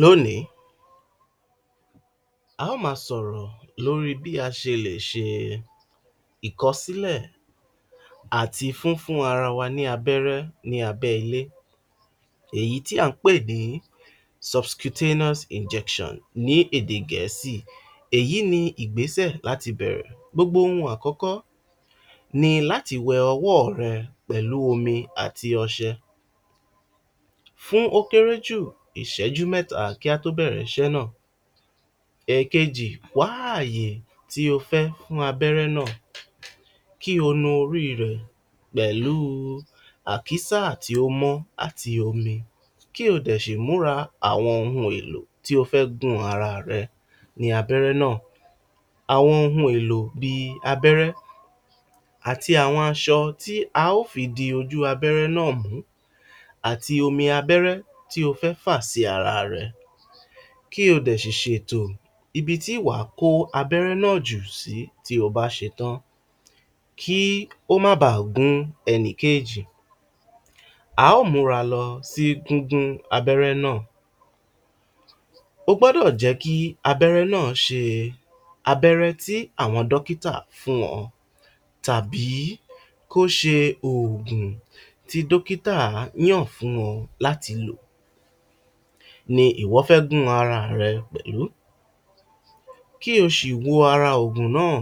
Lónìí a óò máa sọ̀rọ̀ lórí bí a ṣe lè ṣe ìkọsílẹ̀ àti fífún ara wa ní abẹ́rẹ́ ní abẹ́ ilé èyí tí à ń pè ní Subcutaneous injection ní èdè Gẹ̀ẹ́sì. Èyí ní ìgbésẹ̀ láti bẹ̀rẹ̀. Gbogbo ohun àkọ́kọ́ ni láti wẹ ọwọ́ rẹ pẹ̀lú omi àti ọṣẹ fún ó kéré jù ìṣẹ́jú mẹ́ta kí á tó bẹ̀rẹ̀ iṣẹ́ náà. Ẹ̀ẹ̀kejì, wá ààyè tí ó fẹ́ fún abẹ́rẹ́ náà kí ó nu orí rẹ̀ pẹ̀lú àkísà tí ó mọ́ àti omi kí ó dẹ ṣì múra àwọn ohun èlò tí ó fẹ́ gun ara rẹ ní abẹ́rẹ́ náà, àwọn ohun èlò bí i: abẹ́rẹ́ àti àwọn aṣọ tí a óò fi di ojú abẹ́rẹ́ náà mú àti àwọn omi abẹ́rẹ́ tí o fẹ́ fà sí ara rẹ ko dẹ̀ ṣì ṣètò ibi tí wà á kó abẹ́rẹ́ náà jù sí bí o bá ṣetán kí ó máa ba à gún ẹnìkéjì, a óò múra lọ sí gígún abẹ́rẹ́ náà, o gbọ́dọ̀ jẹ́ kí abẹ́rẹ́ náà ṣe abẹ́rẹ́ tí àwọn dọ́kítà fún ọ tàbí kó ṣe oògùn tí dókítà fún ọ ni ìwọ fẹ́ gún ara rẹ pẹ̀lú kí o si wo ara oògùn náà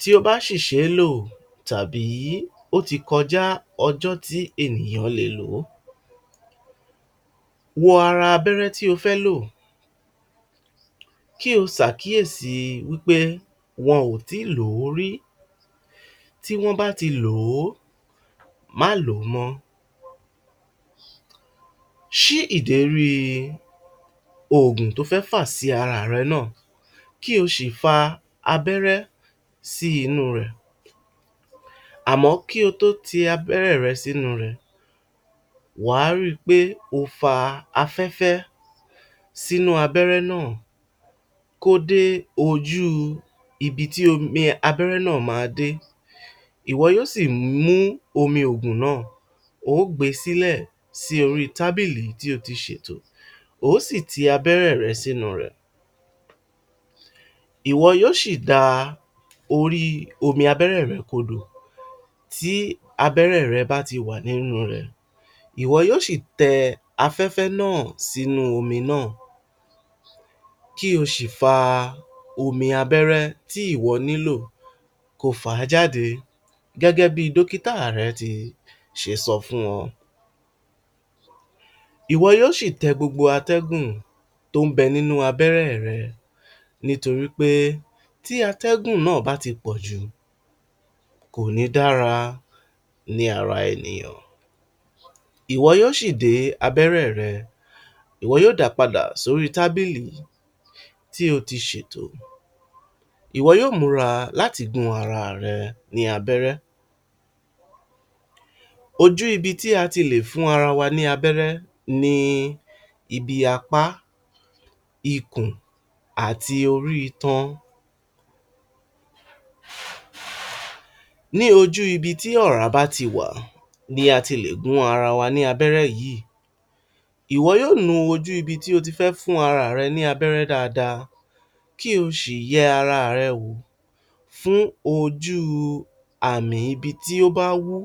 tó bá sì ṣe e lò tàbí ó ti kọjá ọjọ́ tí ènìyàn le lò ó, wo ara abẹ́rẹ́ tí ó fẹ́ lò kí o ṣàkíyèsí pé wọn ò tí i lò ó rí, tí wọ́n bá ti lò ó máa lò ó mọ́ um ṣí ìdérí oògùn to fẹ́ fà sí ara rẹ náà kí o sì fa abẹ́rẹ́ sí inú rẹ̀, àmọ́ kí o tó fa abẹ́rẹ́ rẹ sínú rẹ̀ wà á ri wí pé o fa afẹ́fẹ́ sínú abẹ́rẹ́ náà kó dé ojú ibi tí omi abẹ́rẹ́ náà má a dé, ìwọ yóò sì mú omi oògùn náà o ó gbe sí orí tábìlì tí o ti ṣètò o ó sì ti abẹ́rẹ́ rẹ sínu rẹ̀ ìwọ yóò ṣì da orí abẹ́rẹ́ rẹ kodò tí abẹ́rẹ́ rẹ bá ti wà nínu rẹ̀ ìwọ yóò sì tẹ afẹ́fẹ́ náà sínú omi náà kí o sì fa omi abẹ́rẹ́ tí ìwọ nílò kí o fà á jáde gẹ́gẹ́ bi dókítà rẹ ṣi ṣe sọ fún ọ, ìwọ yóò ṣì tẹ gbogbo atẹ́gùn tí ń bẹ nínú abẹ́rẹ́ rẹ nítorí pé tí atẹ́gùn náà bá ti pọ̀jù kò ní dára ní ara ènìyàn, ìwọ yóò sì de abẹ́rẹ́ rẹ ìwọ yóò da padà sí orí tábìlì tí o ti ṣètò ìwọ yóò múra láti gún ara rẹ ní abẹ́rẹ́ um ojú ibi tí a ti lè fún ara wa ní abẹ́rẹ́ ni: ibi apá, ikùn, àti orí itan, ní ojú ibi tí ọ̀ọ̀rá bá ti wà ní a ti lè gún ara wa ní abẹ́rẹ́ yìí, ìwọ yóò nu ojú ibi tí o ti fẹ́ fún ara rẹ ní abẹ́rẹ́ dáadáa kí o ṣì yẹ ara rẹ wò fún ojú ibi tí ó bá wú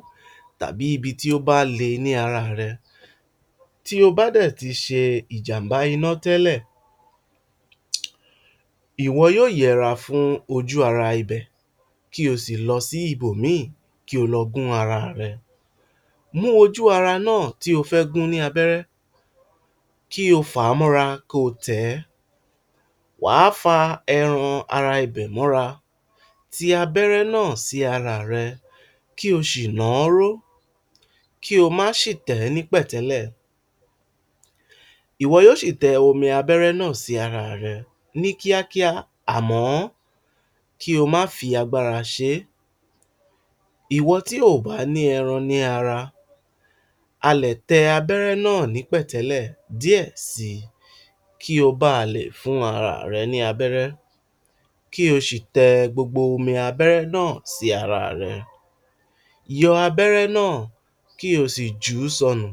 tàbí tí ó bá le ní ara rẹ, tí o bá dẹ̀ ti ṣe ìjàm̀bá iná tẹ́lẹ̀ ìwọ yóò yẹra fún ojú ara ibẹ̀ kí o sì lọ sí ibòmíì kí o lọ gún ara ẹ, mú ojú ara náà tí ó fẹ́ gún ní abẹ́rẹ́ kí o fà á mọ́ra ko tẹ̀ ẹ́, wà á fa ẹran ibẹ̀ mọ́ra ti abẹ́rẹ́ náà sí ara rẹ kí o ṣì nàáró kí o máa ṣì tẹ̀ ẹ́ ní pẹ̀tẹ́lẹ̀, ìwọ yóò ṣì tẹ omi abẹ́rẹ́ náà sí ara rẹ ní kíákíá àmọ́ kí o máa fi agbára ṣe é, ìwọ tí o ò bá ní ẹran ní ara a lè tẹ abẹ́rẹ́ náà ní pẹ̀tẹ́lẹ̀ díẹ̀ si kí o ba lè fún ara rẹ ní abẹ́rẹ́ kí o sì tẹ gbogbo omi abẹ́rẹ́ náà sí ara rẹ, yọ abẹ́rẹ́ náà kí o sì jù ú sọnù.